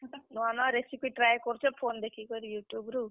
ନୂଆ ନୂଆ recipe try କରୁଛେଁ phone ଦେଖିକରି YouTube ରୁ।